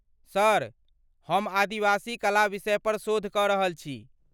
Sir, हम आदिवासी कला विषयपर शोध कऽ रहल छी।